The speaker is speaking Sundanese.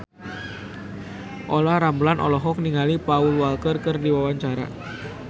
Olla Ramlan olohok ningali Paul Walker keur diwawancara